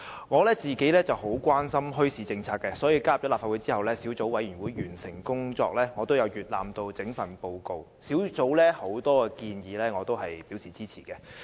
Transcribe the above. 我十分關心墟市政策，所以在加入立法會後，在小組委員會完成工作後，我也曾閱覽整份報告，對於小組委員會的很多建議我也是支持的。